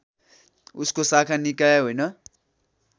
उसको शाखा निकाय होइन